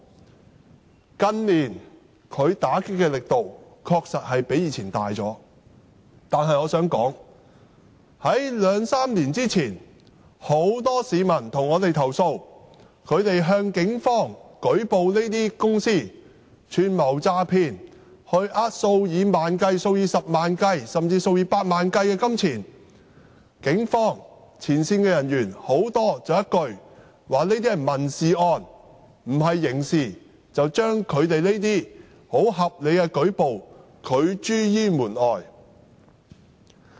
警方近年在這方面打擊的力度確實較以往大，但我想指出，在兩三年前，很多市民曾向我們投訴，指他們向警方舉報這些公司串謀詐騙，欺騙數以萬元計、數以十萬元計，甚至數以百萬元計的金錢時，警方很多前線人員說一句："這些是民事案，不是刑事案"，便把他們這些合理的舉報拒諸於門外。